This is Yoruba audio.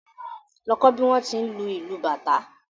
Lọ kọ́ bí wón ti ń lu ìlù bàtá